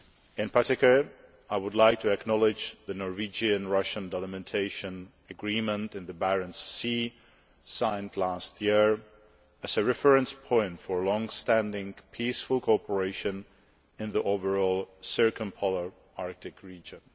In particular, I would like to acknowledge the Norwegian Russian delimitation agreement on the Barents Sea, which was signed last year, as a reference point for long term peaceful cooperation in the overall circumpolar Arctic region.